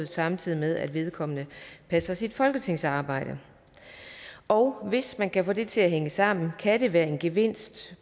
samtidig med at vedkommende passer sit folketingsarbejde og hvis man kan få det til at hænge sammen kan det være en gevinst